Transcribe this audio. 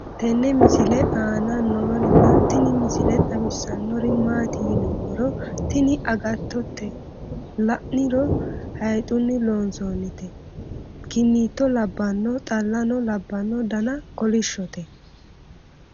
tenne misile aana noorina tini misile xawissannori maati yinummoro tini agattote la'niro hayxunni loonsoonnita kinito labbanno xallano labbanno dana kolishshote